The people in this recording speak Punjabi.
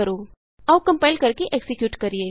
ਆਉ ਕੰਪਾਇਲ ਕਰਕੇ ਐਕਜ਼ੀਕਿਯੂਟ ਕਰੀਏ